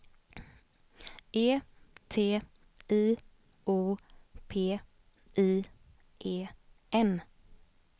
E T I O P I E N